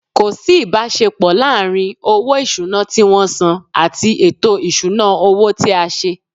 Ko si ibasepo laaarin owo isuna ti won san ati eto isuna owo ti a se.